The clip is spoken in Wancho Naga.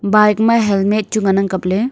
bike ma helmet chu ngan ang kapley.